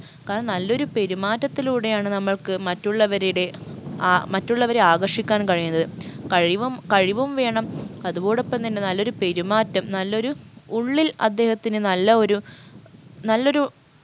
കാരണം നല്ലൊരു പെരുമാറ്റത്തിലൂടെയാണ് നമ്മൾക്ക് മറ്റുള്ളവരുടെ ആ മറ്റുള്ളവരെ ആകർഷിക്കാൻ കഴിയുന്നത് കഴിവും കഴിവും വേണം അതോടൊപ്പം തന്നെ നല്ലൊരു പെരുമാറ്റം നല്ലൊരു ഉള്ളിൽ അദ്ദേഹത്തിന് നല്ല ഒരു നല്ലൊരു